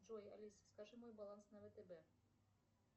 джой алиса скажи мой баланс на втб